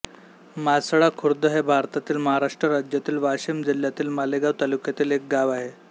मासळा खुर्द हे भारतातील महाराष्ट्र राज्यातील वाशिम जिल्ह्यातील मालेगाव तालुक्यातील एक गाव आहे